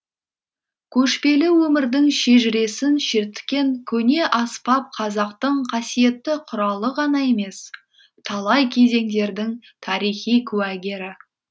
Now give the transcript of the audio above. көшпелі өмірдің шежіресін шерткен көне аспап қазақтың қасиетті құралы ғана емес талай кезеңдердің тарихи куәгері